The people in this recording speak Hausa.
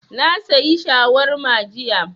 Na sayi shawarma jiya